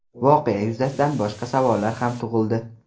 Voqea yuzasidan boshqa savollar ham tug‘ildi.